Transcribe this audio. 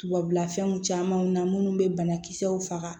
Tubabula fɛnw camanw na munnu be banakisɛw faga